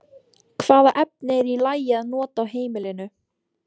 Hvaða efni er í lagi að nota á heimilinu?